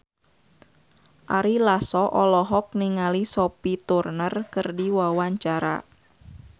Ari Lasso olohok ningali Sophie Turner keur diwawancara